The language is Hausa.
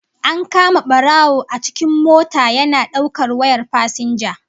An kama barawo a cikin mota yana daukar wayar fasinja